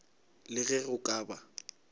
le ge go ka ba